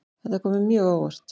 Þetta kom mér mjög á óvart